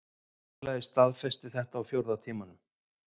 Félagið staðfesti þetta á fjórða tímanum